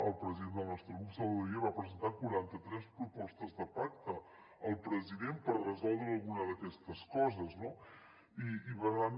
el president del nostre grup salvador illa va presentar quaranta tres propostes de pacte al president per resoldre alguna d’aquestes coses no i per tant